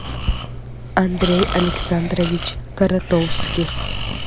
андрей александрович коротовских